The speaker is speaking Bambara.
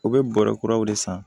U bɛ bɔrɔ kuraw de san